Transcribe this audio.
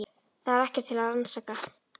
Það var ekkert til að rannsaka.